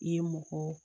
I ye mɔgɔ